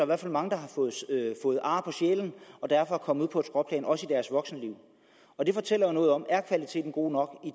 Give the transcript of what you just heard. hvert fald mange der har fået ar på sjælen og derfor er kommet ud på et skråplan også i deres voksenliv og det fortæller jo noget om er kvaliteten god nok